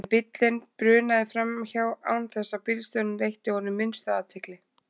En bíllinn brunaði framhjá án þess að bílstjórinn veitti honum minnstu athygli.